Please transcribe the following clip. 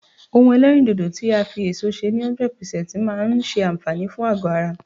ohun elerindodo ti a fi eso se ni 100% maa n se anfaani fun ago ara